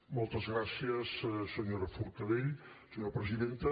moltes gràcies senyora forcadell senyora presidenta